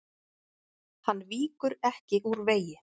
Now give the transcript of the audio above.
Hann víkur ekki úr vegi.